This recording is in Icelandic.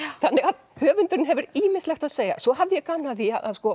þannig að höfundurinn hefur ýmislegt að segja svo hafði ég gaman af því